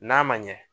N'a ma ɲɛ